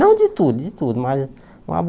Não de tudo, de tudo, mas uma